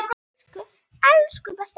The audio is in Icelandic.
Elsku, besti afi.